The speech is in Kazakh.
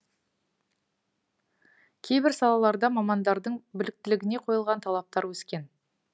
кейбір салаларда мамандардың біліктілігіне қойылған талаптар өскен